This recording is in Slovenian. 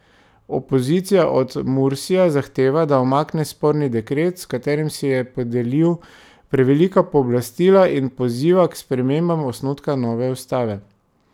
Opozicija od Mursija zahteva, da umakne sporni dekret, s katerim si je podelil prevelika pooblastila, in poziva k spremembam osnutka nove ustave.